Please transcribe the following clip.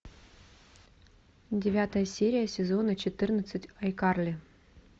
девятая серия сезона четырнадцать ай карли